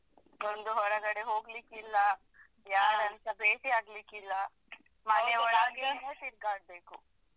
ಒಂದು ಹೊರಗಡೆ ಹೋಗ್ಲಿಕ್ಕಿಲ್ಲ ಯಾರನ್ಸ ಭೇಟಿಯಾಗ್ಲಿಕಿಲ್ಲ ಮನೆಯೊಳಗೆ ತಿರ್ಗಾಡ್ಬೇಕು.